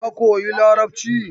Ka koyi Larabci!